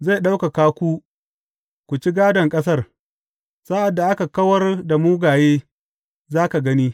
Zai ɗaukaka ku ku ci gādon ƙasar, sa’ad da aka kawar da mugaye, za ka gani.